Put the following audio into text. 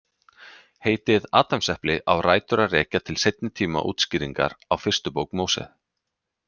Heitið Adamsepli á rætur að rekja til seinni tíma útskýringar á fyrstu bók Móse.